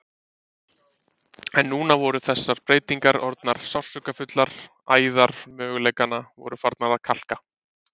En núna voru þessar breytingar orðnar sársaukafullar, æðar möguleikanna voru farnar að kalka.